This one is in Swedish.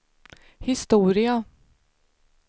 historia